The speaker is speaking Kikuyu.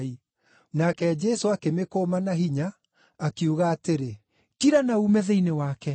Nake Jesũ akĩmĩkũma na hinya, akiuga atĩrĩ, “Kira na uume thĩinĩ wake!”